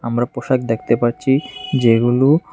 আমরা পোশাক দেখতে পাচ্ছি যেগুলো।